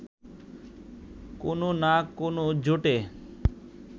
কোনও না কোনও জোটে